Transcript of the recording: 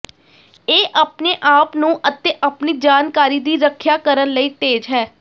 ਇਹ ਆਪਣੇ ਆਪ ਨੂੰ ਅਤੇ ਆਪਣੀ ਜਾਣਕਾਰੀ ਦੀ ਰੱਖਿਆ ਕਰਨ ਲਈ ਤੇਜ਼ ਹੈ